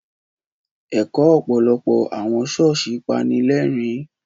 Ẹ̀kọ́ ọ̀pọ̀lọpọ̀ àwọn ṣọ́ọ̀ṣì pani lẹ́rìn-ín.